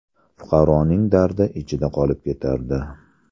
Fuqaroning dardi ichida qolib ketardi.